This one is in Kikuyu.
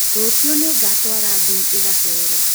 Rũciũ nĩngatwara ngui ĩgacere